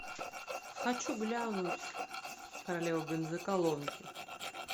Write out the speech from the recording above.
хочу глянуть королеву бензоколонки